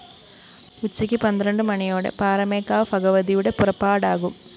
ഉച്ചക്ക് പന്ത്രണ്ട് മണിയോടെ പാറമേക്കാവ് ഭഗവതിയുടെ പുറപ്പാടാകും